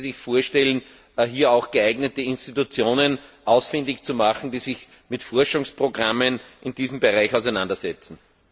Können Sie sich vorstellen, hier auch geeignete Institutionen ausfindig zu machen, die sich mit Forschungsprogrammen in diesem Bereich auseinandersetzen?